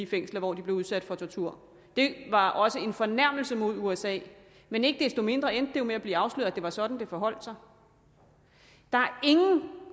fængsler hvor de blev udsat for tortur det var også en fornærmelse mod usa men ikke desto mindre endte det jo med at blive afsløret at det var sådan det forholdt sig der er ingen